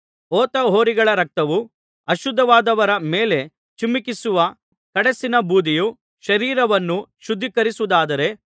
ಹೋತ ಹೋರಿಗಳ ರಕ್ತವೂ ಅಶುದ್ಧರಾದವರ ಮೇಲೆ ಚಿಮುಕಿಸುವ ಕಡಸಿನ ಬೂದಿಯೂ ಶರೀರವನ್ನು ಶುದ್ಧೀಕರಿಸುವುದಾದರೆ